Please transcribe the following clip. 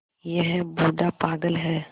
यह बूढ़ा पागल है